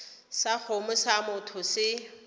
sa kgomo sa motho se